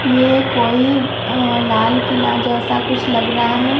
ये कोई अ लाल किला जैसा कुछ लग रहा है।